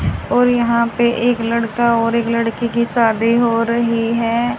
और यहां पर एक लड़का और एक लड़की की शादी हो रही है।